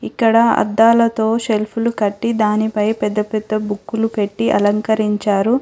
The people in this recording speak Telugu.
ఇక్కడ అద్దాలతో షెల్ఫులు కట్టి దానిపై పెద్ద పెద్ద బుక్కులు పెట్టి అలంకరించారు.